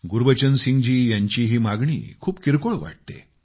गुरबचन सिंग जी यांची ही मागणी वाटते खूप किरकोळ आहे